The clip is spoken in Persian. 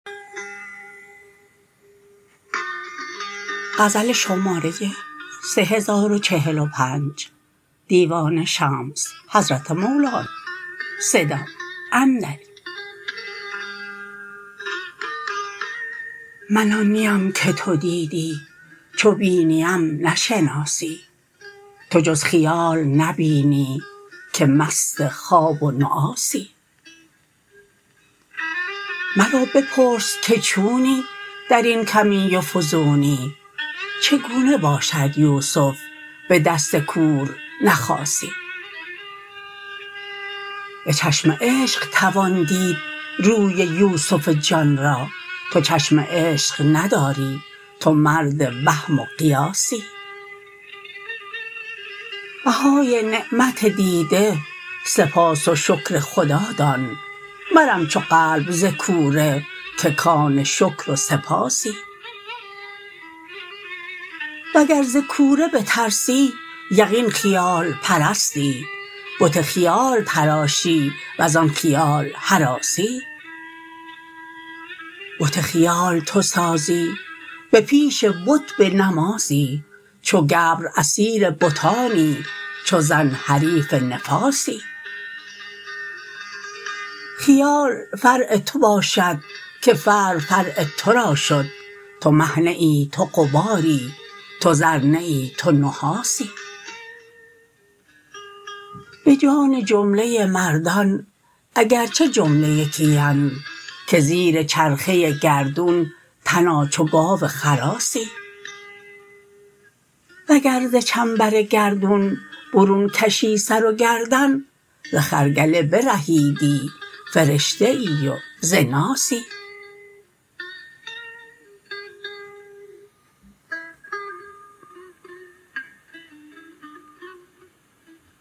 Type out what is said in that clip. من آن نیم که تو دیدی چو بینیم نشناسی تو جز خیال نبینی که مست خواب و نعاسی مرا بپرس که چونی در این کمی و فزونی چگونه باشد یوسف به دست کور نخاسی به چشم عشق توان دید روی یوسف جان را تو چشم عشق نداری تو مرد وهم و قیاسی بهای نعمت دیده سپاس و شکر خدا دان مرم چو قلب ز کوره که کان شکر و سپاسی وگر ز کوره بترسی یقین خیال پرستی بت خیال تراشی وزان خیال هراسی بت خیال تو سازی به پیش بت به نمازی چو گبر اسیر بتانی چو زن حریف نفاسی خیال فرع تو باشد که فرع فرع تو را شد تو مه نه ای تو غباری تو زر نه ای تو نحاسی به جان جمله مردان اگر چه جمله یکی اند که زیر چرخه گردون تنا چو گاو خراسی وگر ز چنبر گردون برون کشی سر و گردن ز خرگله برهیدی فرشته ای و ز ناسی